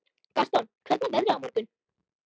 Gaston, hvernig er veðrið á morgun?